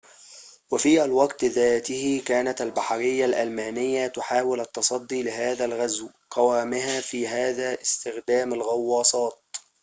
وفي الوقت ذاته كانت البحرية الألمانية تحاول التصدي لهذا الغزو قوامها في هذا استخدام الغواصات